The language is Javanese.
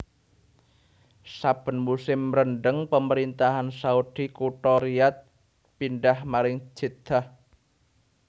Saben musim rendeng Pemerintahan Saudi kutha Riyadh pindhah maring Jeddah